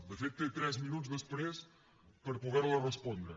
de fet té tres minuts després per poder la respondre